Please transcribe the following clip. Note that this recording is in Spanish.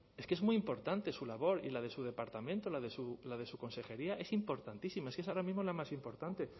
es que es muy importante su labor y la de su departamento la de su consejería es importantísima es que es ahora mismo la más importante